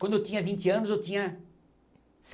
Quando eu tinha vinte anos eu tinha